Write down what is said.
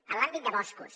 en l’àmbit de boscos